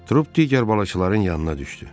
Trup digər balıqçıların yanına düşdü.